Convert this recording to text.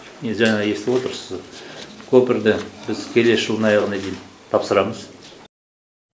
жаңа естіп отырсыз көпірді біз келесі жылдың аяғына дейін тапсырамыз